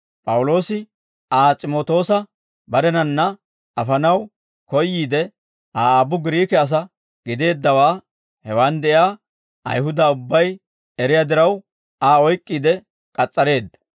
P'awuloosi Aa S'imootoosa barenanna afanaw koyyiide, Aa aabbu Giriike asaa gideeddawaa hewaan de'iyaa Ayihuda ubbay eriyaa diraw, Aa oyk'k'iide k'as's'areedda.